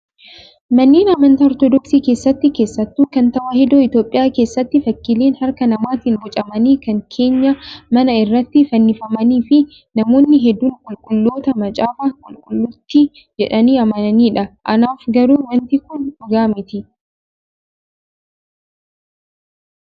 Manneen amantaa ortoodooksii keessatti keessattuu kan tawaahidoo Itoophiyaa keessatti fakkiileen harka namaatiin bocamanii kan keenyaa manaa irratti fannifamanii fi namoonni hedduun qulqulloota Macaafa Qulqulluuti jedhanii amananiidha. Anaaf garuu wanti Kun dhugaa miti.